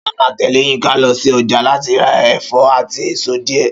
Ṣọlá máa tẹ̀lé Yínka lọ sí ọjà láti ra ẹ̀fọ́ àti èso díẹ̀